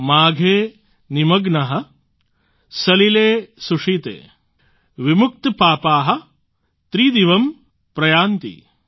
માઘે નિમગ્નાઃ સલિલે સુશીતે વિમુક્તપાપાઃ ત્રિદિવમ્ પ્રયાન્તિ